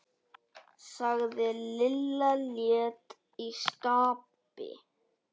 sagði Lilla létt í skapi.